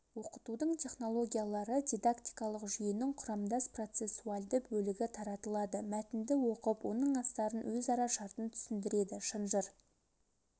оқытудың технологиялары дидактикалық жүйенің құрамдас процессуальды бөлігі таратылады мәтінді оқып оның астарын өзара шартын түсіндіреді шынжыр